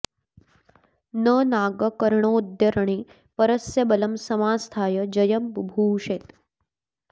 न नाग कर्णोऽद्य रणे परस्य बलं समास्थाय जयं बुभूषेत्